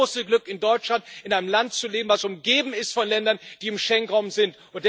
Wir haben das große Glück in Deutschland, in einem Land zu leben, das umgeben ist von Ländern, die im Schengen Raum sind.